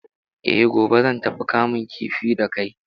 Eh, gobe zan tafi kamun kifi da kai.